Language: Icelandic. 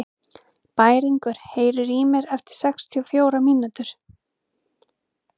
Bæringur, heyrðu í mér eftir sextíu og fjórar mínútur.